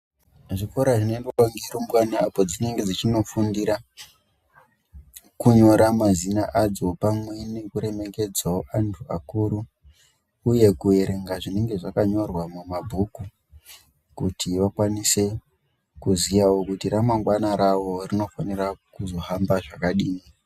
Zvikora zvinoendwa nerumbwana apo dzinenge dzichinofundira kunyora mazina adzo pamwe nekuremekedzawo antu akuru uye kuerenga zvinenge zvakanyorwa mumabhuku kuti vakwanise kuziyawo kuti ramangwana ravo rinofanira kuzohamba zvakadini.